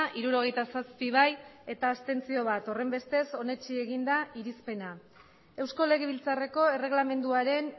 hirurogeita zazpi abstentzioak bat horrenbestez onetsi egin da irizpena eusko legebiltzarreko erreglamenduaren